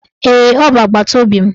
Ee, ọ bụ agbataobi m